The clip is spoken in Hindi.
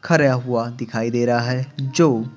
खरा हुआ दिखाई दे रहा है जो--